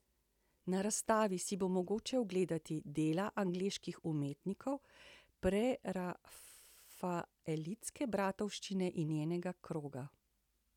Na razstavi si bo mogoče ogledati dela angleških umetnikov prerafaelitske bratovščine in njenega kroga.